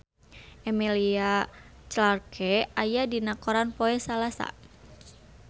Emilia Clarke aya dina koran poe Salasa